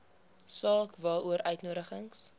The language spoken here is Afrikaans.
saak waaroor uitnodigings